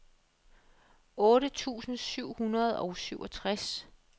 otte tusind syv hundrede og syvogtres